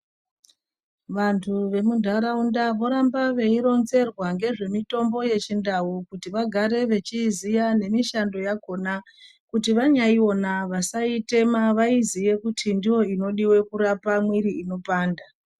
Vandu vamundaraunda vorambe veironzerwa ngezvemutombo yachindau kuti vagare vechizia nemushando yakona kuti vanyaiona vasaitema vaiziye kuti ndoinodiwa kurape mwiri unopanda